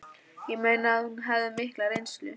Ég meina að hún hafði mikla reynslu